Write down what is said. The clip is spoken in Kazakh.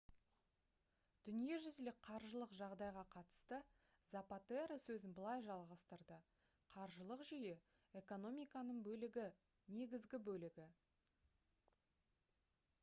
дүниежүзілік қаржылық жағдайға қатысты запатеро сөзін былай жалғастырды: «қаржылық жүйе — экономиканың бөлігі негізгі бөлігі